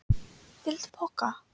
Viltu poka?